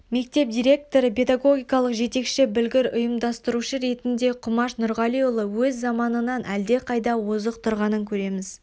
мектеп директоры педагогикалық жетекші білгір ұйымдастырушы ретінде құмаш нұрғалиұлы өз заманынан әлдеқайда озық тұрғанын көреміз